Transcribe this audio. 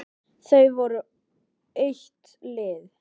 Þau voru eitt lið.